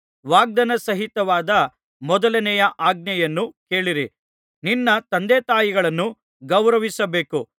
ವಾಗ್ದಾನಸಹಿತವಾದ ಮೊದಲನೆಯ ಆಜ್ಞೆಯನ್ನು ಕೇಳಿರಿ ನಿನ್ನ ತಂದೆತಾಯಿಗಳನ್ನು ಗೌರವಿಸಬೇಕು